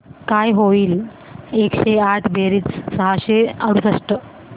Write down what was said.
काय होईल एकशे आठ बेरीज सहाशे अडुसष्ट